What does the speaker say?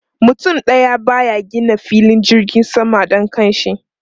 Mutum daya ba ya gina filin jirgin sama don kanshi.